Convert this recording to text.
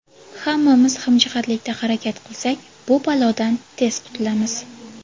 Hammamiz hamjihatlikda harakat qilsak, bu balodan tez qutulamiz.